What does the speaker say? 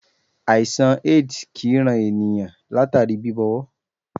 Àìsàn AIDS kì í ran ènìnyàn látàrí bíbọwọ́.